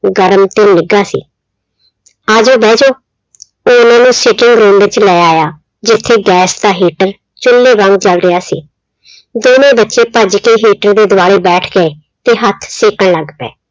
ਗਰਮ ਤੇ ਨਿੱਘਾ ਸੀ। ਆਜੋ ਬੈਜੋ, ਉਹ ਉਹਨਾਂ ਨੂੰ sitting room ਵਿੱਚ ਲੈ ਆਇਆ, ਜਿੱਥੇ gas ਦਾ heater ਚੁੱਲ੍ਹੇ ਵਾਂਗ ਚੱਲ ਰਿਹਾ ਸੀ, ਦੋਨੋਂ ਬੱਚੇ ਭੱਜ ਕੇ heater ਦੇ ਦੁਆਲੇ ਬੈਠ ਗਏ ਤੇ ਹੱਥ ਸੇਕਣ ਲੱਗ ਪਏ।